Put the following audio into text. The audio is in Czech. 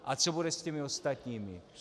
A co bude s těmi ostatními?